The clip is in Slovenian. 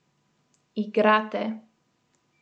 Igrate.